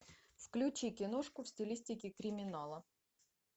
включи киношку в стилистике криминала